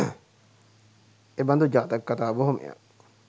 එබඳු ජාතක කථා බොහොමයක්